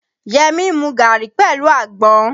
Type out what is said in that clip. Yẹmí ń mu gàrí pẹ̀lú àgbọn.